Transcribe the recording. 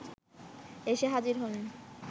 এসে হাজির হলেন